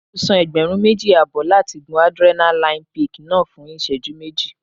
Mo san ẹgbẹ̀rún méjì àbọ̀ láti gun Adrenaline peak náà fún ìṣẹ́jú méjì.